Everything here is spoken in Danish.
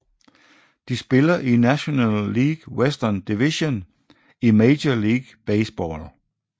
De spiller i National League Western Division i Major League Baseball